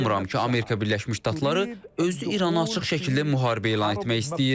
Mən inanmıram ki, Amerika Birləşmiş Ştatları özü İrana açıq şəkildə müharibə elan etmək istəyir.